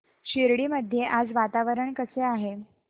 शिर्डी मध्ये आज वातावरण कसे आहे